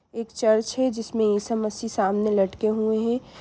एक चर्च है जिसमे ईशा मसिह सामने लटके हुए हैं।